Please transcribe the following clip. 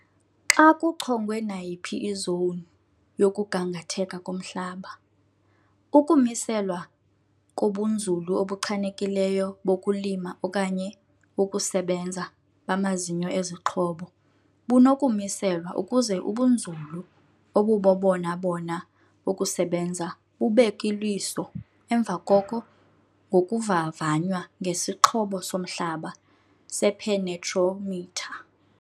Xa kuchongwe nayiphi izowuni yokugangatheka komhlaba, ukumiselwa kobunzulu obuchanekileyo bokulima okanye "wokusebenza" bamazinyo ezixhobo bunokumiselwa ukuze ubunzulu obubobona-bona bokusebenza bubekw-iliso emva koko ngokuvavnya ngesixhobo somhlaba sephenetromitha.